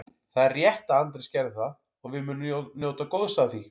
Það er rétt að Andrés gerði það og við munum njóta góðs af því.